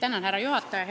Austatud härra juhataja!